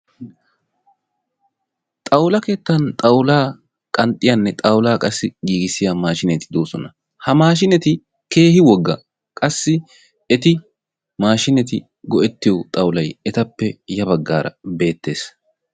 Xawula keettaan xawulaa qanxxiyaanne xawulaa qassi giigissiya maashineti doosona. Ha maashineti keehi woogga. Qassi eti maashineeti go"ettiyo xawulay ettappe guuye baggaara beettees.